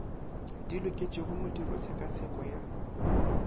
di loketšego modiro tshekatsheko ya